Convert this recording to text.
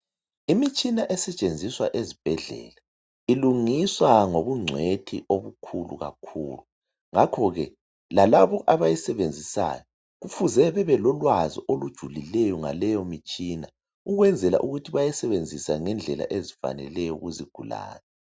imitshina esetshenziswa esibhedlela iyenziwa ngokunceka okukhulu kakhulu ngakho ke lalaba abawusebenzisayo kumele bebelolwazi olujulileyo ngaleyo mitshina ukwenzela ukuthi bayisebenzise ngendlela ezifaneleyo kuzi gulane